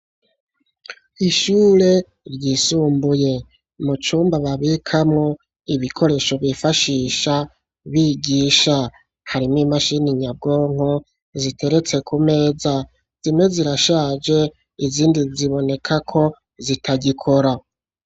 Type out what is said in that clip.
Ishure ryisumbuye mu cumba babikamo ibikoresho bifashisha bigisha harimo imashini nyabwonko ziteretse ku meza. Zimwe zirashaje izindi ziboneka ko zitagikora.